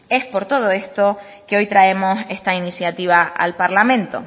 es por todo esto que hoy traemos esta iniciativa al parlamento